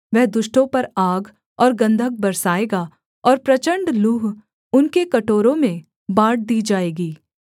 वह दुष्टों पर आग और गन्धक बरसाएगा और प्रचण्ड लूह उनके कटोरों में बाँट दी जाएँगी